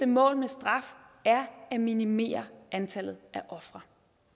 mål med straf er at minimere antallet af ofre